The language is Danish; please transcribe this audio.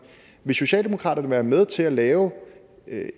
vil socialdemokraterne være med til at lave